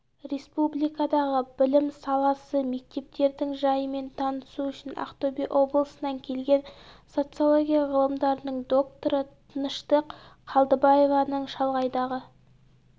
республикадағы білім саласы мектептердің жайымен танысу үшін ақтөбе облысынан келген социология ғылымдарының докторы тыныштық қалдыбаеваның шалғайдағы